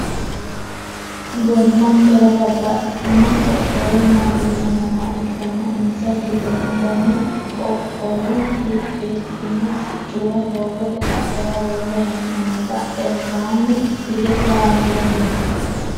gobbankera babbaxxitino qoqqowu mootimma nooha ikkanna insa giddonni gama qoqqowo riqibbino siccuwa doogote qaccera worre hee'noonni badhensaanni hige kameelu no